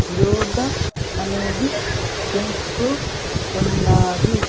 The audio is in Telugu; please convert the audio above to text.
యోగ అనేది చేస్తూ ఉన్నారు.